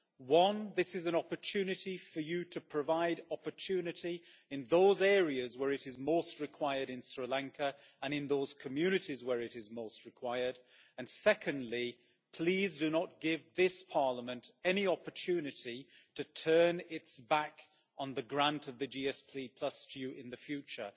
One, this is an opportunity for you to provide opportunity in those areas where it is most required in Sri Lanka and in those communities where it is most required, and secondly, please do not give this Parliament any opportunity to turn its back on the grant of the GSP to you in the future.